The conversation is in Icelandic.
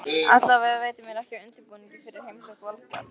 Allavega veitir mér ekki af undirbúningi fyrir heimsókn Valgarðs.